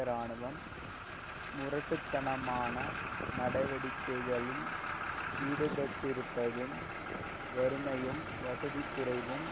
இராணுவம் முரட்டு தனமான நடவடிக்கைகளில் ஈடுபட்டிருப்பதும் வறுமையும் வசதிக்குறைவும்